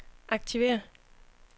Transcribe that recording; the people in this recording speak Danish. aktiver